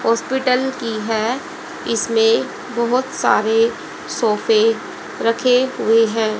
Hospital की है इसमें बहोत सारे सोफे रखे हुए हैं।